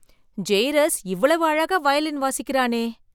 Jairus எவ்வளவு அழகா வயலின் வசிக்கிறானே!